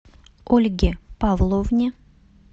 ольге павловне